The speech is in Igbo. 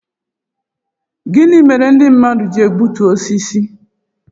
Gịnị mere ndị mmadụ ji egbutu osisi